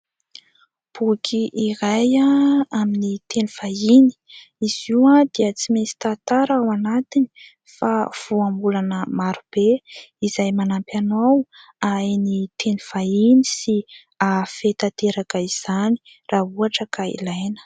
Boky iray amin'ny teny vahiny, izy io dia tsy misy tantara ao anatiny fa voambolana marobe izay manampy anao hahay ny teny vahiny sy hahafehy tanteraka izany raha ohatra ka ilaina.